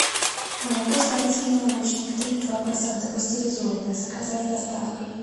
молоко старицкий молочник три и два процента пастеризованное заказать с доставкой